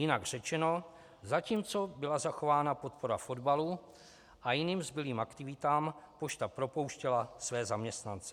Jinak řečeno - zatímco byla zachována podpora fotbalu a jiným zbylým aktivitám, pošta propouštěla své zaměstnance.